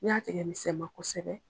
N'i y'a tigɛ misɛma kosɛbɛ